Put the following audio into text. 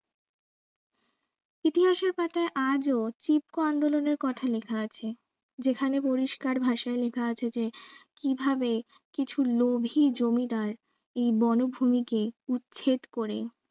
ইতিহাসের পাতায় আজও কথা লিখা আছে যেখানে পরিষ্কার ভাষায় লিখা আছে যে কিভাবে কিছু লোভী জমিদার এই বনভূমিকে উচ্ছেদ করে